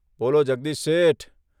' બોલો, જગદીશ શેઠ !